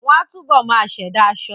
Wọ́n á túbọ̀ máa ṣẹ̀dá aṣọ